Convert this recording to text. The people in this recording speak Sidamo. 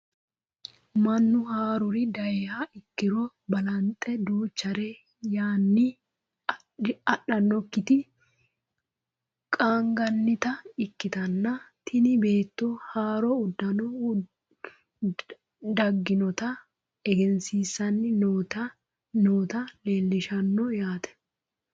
mannu haaruri dayiiha ikkiro balaxe duuchare yaanni adhannokkiti qaangannita ikkitanna, tini beetto haaro uddano dagginota egensiisanni noota leelishshanno yaate ?